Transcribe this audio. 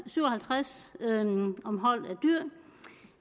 syv og halvtreds om hold